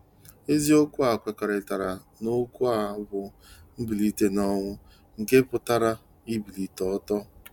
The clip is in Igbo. Eziokwu a kwekọrịtara n'okwu a bụ "mbilite n'ọnwụ," nke pụtara "ibilite ọtọ".